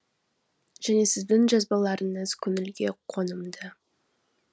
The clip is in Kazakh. және сіздің жазбаларыңыз көңілге қонымды